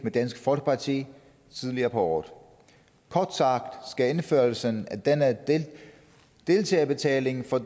med dansk folkeparti tidligere på året kort sagt skal indførelsen af denne deltagerbetaling for